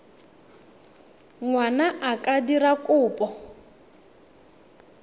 ngwana a ka dira kopo